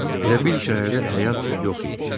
Elə bil şəhərdə həyat yox idi.